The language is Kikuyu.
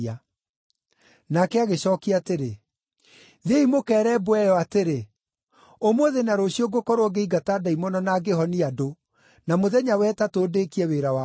Nake agĩcookia atĩrĩ, “Thiĩi mũkeere mbwe ĩyo atĩrĩ, ‘Ũmũthĩ na rũciũ ngũkorwo ngĩingata ndaimono na ngĩhonia andũ, na mũthenya wa ĩtatũ ndĩĩkie wĩra wakwa.’